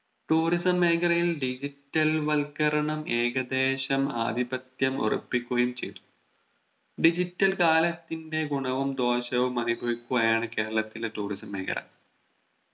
Tourism മേഖലയിൽ Digital വൽക്കരണം ഏകദേശം ആധിപത്യം ഉറപ്പിക്കുകയും ചെയ്തു Digital കാലത്തിന്റെ ഗുണവും ദോശവും അനുഭവിക്കുകയാണ് കേരളത്തിലെ Tourism മേഖല